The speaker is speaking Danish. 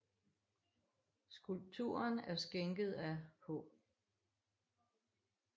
Skulpturen er skænket af af H